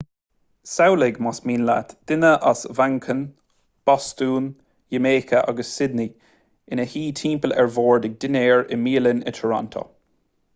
samhlaigh más mian leat duine as manchain bostún iamáice agus sydney ina suí timpeall an bhoird ag dinnéar i mbialann i toronto